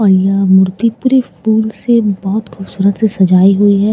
और यहाँ मूर्ति पूरी फूल से बहुत खूबसूरत से सजाई गयी हुई हैं --